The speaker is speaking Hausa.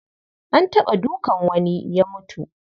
An taɓa dukan wani ya mutu.